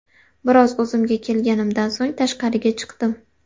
Biroz o‘zimga kelganimdan so‘ng tashqariga chiqdim.